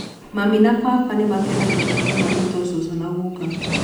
Mami na baba nĩ maakenagĩra mũno gwĩtwo cũcũ na gũka.